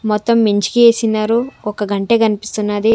మొత్తం మెంచికి ఏసినారు ఒక గంటే కనిపిస్తున్నది.